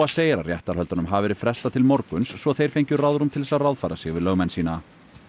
segir að réttarhöldunum hafi verið frestað til morguns svo þeir fengju ráðrúm til þess að ráðfæra sig við lögmenn sína